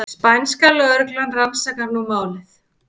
Spænska lögreglan rannsakar nú málið